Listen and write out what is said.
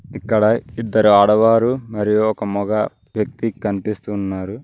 ఇక్కడ ఇద్దరు ఆడవారు మరియు ఒక మగ వ్యక్తి కనిపిస్తున్నారు.